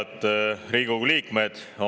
Head Riigikogu liikmed!